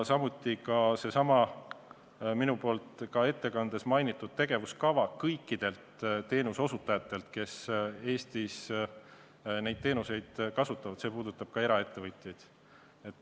Samuti seesama minu ettekandes mainitud tegevuskava, mida on vaja kõikidel teenuseosutajatel, kes Eestis neid teenuseid osutavad, puudutab ka eraettevõtjaid.